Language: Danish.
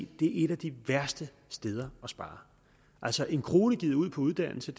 det er et af de værste steder at spare altså en kroner givet ud på uddannelse